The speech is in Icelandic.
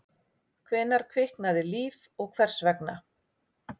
Hvenær kviknaði líf og hvers vegna?